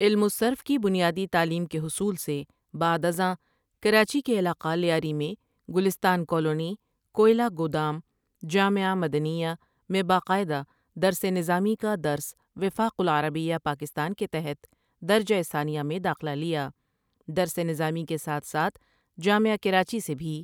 علم الصرف کی بنیادی تعلیم کے حصول سے بعد از آں کراچی کے علاقہ لیاری میں گلستان کالونی، کوئلہ گودام، جامعہ مدنیہ، میں باقاعدہ درسِ نظامی کا درس وفاق العربیہ پاکستان کے تحت درجہ ثانیہ میں داخلہ لیا درس نظامی کے ساتھ ساتھ جامعہ کراچی سے بھی۔